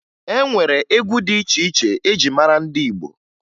E nwere egwu dị iche iche eji mara ndị Igbo